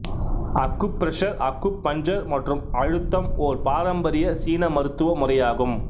acupressure acupuncture மற்றும் அழுத்தம் ஓர் பரம்பரிய சீன மருத்துவ முறையாகும்